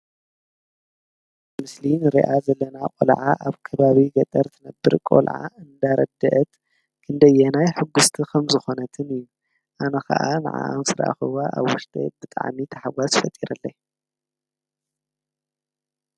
ኣብቲ ምስሊ ንሪኣ ዘለና ቆልዓ ኣብ ከባቢ ገጠር ትነብር ቆልዓ እንዳረደአት ክንደየናይ ሕጉስቲ ከምዝኾነትን እዩ፡፡ ኣነ ከዓ ንዓኣ ምስራኣኽዋ ኣብ ውሽጠይ ብጣዕሚ ታሕጓስ ፈጢሩለይ፡፡